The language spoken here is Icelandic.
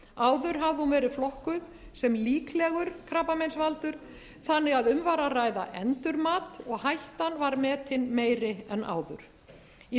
áður hafði hún verið flokkuð sem líklegur krabbameinsvaldur þannig að um var að ræða endurmat og hættan var metin meiri en áður í